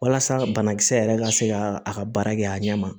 Walasa banakisɛ yɛrɛ ka se ka a ka baara kɛ a ɲɛ ma